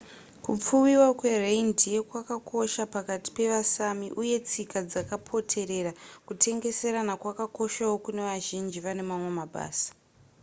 kupfuwiwa kwereindeer kwakakosha pakati pevasami uye tsika dzakapoterera kutengeserana kwakakoshawo kunevazhinji vanemamwe mabasa